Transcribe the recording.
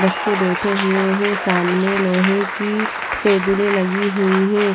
बच्चे बेठे हुए हैं सामने लोहे की टेबले लगी हुई हे ।